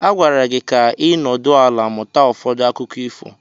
A gwara gị ka ị nọdụ ala mụta ụfọdụ akụkọ ifo.